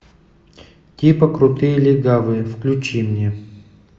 типа крутые легавые включи мне